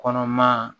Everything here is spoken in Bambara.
Kɔnɔma